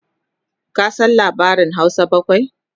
ka San labarin Hausa bakwai?